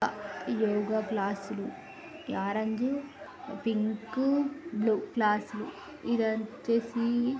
యోగ క్లాసులు orange pink blue క్లాసులు ఇది వచ్చేసి --